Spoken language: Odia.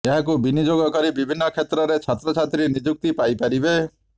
ଏହାକୁ ବିନିଯୋଗ କରି ବିଭିନ୍ନ କ୍ଷେତ୍ରରେ ଛାତ୍ରଛାତ୍ରୀ ନିଯୁକ୍ତି ପାଇପାରବେ